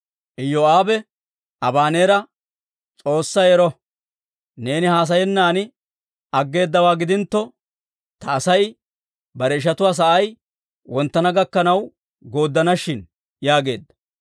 Iyoo'aabe Abaneera, «S'oossay ero! Neeni haasayennan aggeedawaa gidintto, ta Asay bare ishatuwaa sa'ay wonttana gakkanaw yedersana shin» yaageedda.